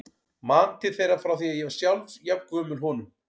Man til þeirra frá því ég var sjálf jafn gömul honum.